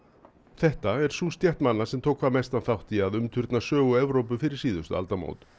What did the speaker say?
þetta er sú stétt manna sem tók hvað mestan þátt í að umturna sögu Evrópu fyrir síðustu aldamót